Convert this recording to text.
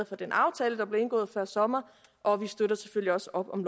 for den aftale der blev indgået før sommer og vi støtter selvfølgelig også op om